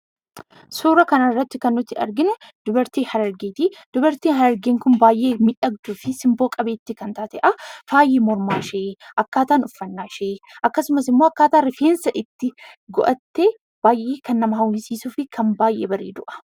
Suura kana irratti kan nuti arginu dubartii Oromoo Harargeeti. Dubartiin kun baayyee miidhagduu kan taatee fi haalli uffannaa ishee fi miidhagina ishee baayyee kan nama hawwisiisuu dha.